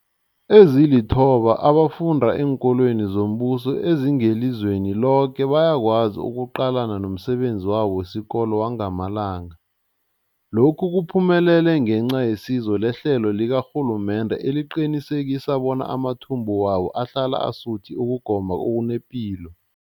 Ezilithoba abafunda eenkolweni zombuso ezingelizweni loke bayakwazi ukuqalana nomsebenzi wabo wesikolo wangamalanga. Lokhu kuphumelele ngenca yesizo lehlelo likarhulumende eliqinisekisa bona amathumbu wabo ahlala asuthi ukugoma okunepilo.